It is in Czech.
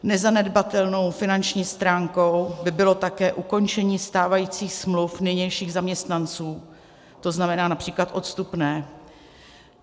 Nezanedbatelnou finanční stránkou by bylo také ukončení stávajících smluv nynějších zaměstnanců, to znamená například odstupné.